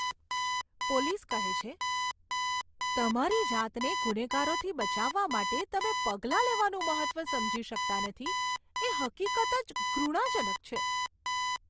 Police કહે છે, તમારી જાતને ગુનેગારોથી બચાવવા માટે તમે પગલાં લેવાનું મહત્ત્વ સમજી શકતા નથી એ હકીકત જ ઘૃણાજનક છે.